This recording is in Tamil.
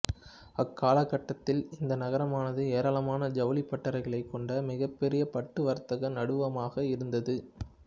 அக்காலக்கட்டத்தில் இந்த நகரமானது ஏராளமான ஜவுளிப் பட்டறைகளைக் கொண்ட மிகப்பெரிய பட்டு வர்த்தக நடுவமாக இருந்தது